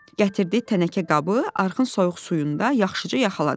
Gətirdiyi tənəkə qabı arxın soyuq suyunda yaxşıca yuyaladı.